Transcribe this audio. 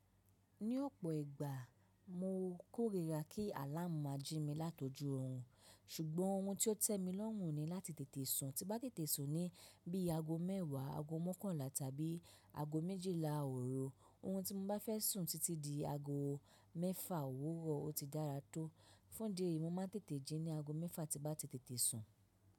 Ní ọ̀pọ̀ ìgbà mo kórìíra kí àláàmú ma ji mi látọjú orun, ṣùgbọ́n ohun tí ó tẹ́ mi lọ́run ni láti tètè sùn. Tí bá tètè sùn ni bí i aago mẹ́wàá, aago mọ́kànlá tàbí aago méjìlá òru, ohun tí mo bá fẹ́ sùn títí di aago mẹ́fà òwúrọ̀ o ti dára tó. Fún díẹ̀, mo ma tètè jí ní aago mẹ́fà tí bá ti tètè sùn.